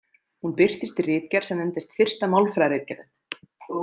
Hún birtist í ritgerð sem nefndist Fyrsta málfræðiritgerðin.